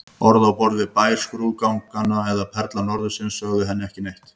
Orð á borð við Bær skrúðgarðanna eða Perla norðursins sögðu henni ekki neitt.